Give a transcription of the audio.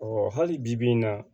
hali bibi in na